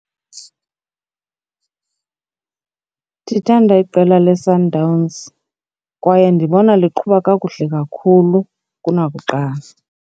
Ndithanda iqela leSundowns kwaye ndibona liqhuba kakuhle kakhulu kunakuqala.